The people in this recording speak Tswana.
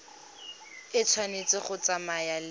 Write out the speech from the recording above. e tshwanetse go tsamaya le